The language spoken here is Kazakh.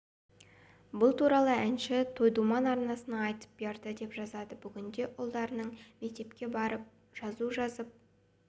бұл туралы әнші той думан арнасына айтып берді деп жазады бүгінде ұлдарының мектепке барып жазу жазып